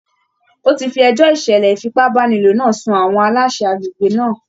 Ó ti fi ẹjọ́ ìṣẹ̀lẹ̀ ìfipàbàniló náà sun àwọn aláṣẹ agbègbè náà.